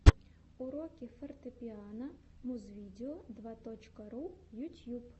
уроки фортепиано музвидео два точка ру ютьюб